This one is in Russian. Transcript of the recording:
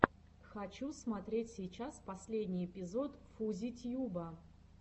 хочу смотреть сейчас последний эпизод фузи тьюба